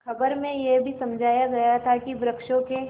खबर में यह भी समझाया गया था कि वृक्षों के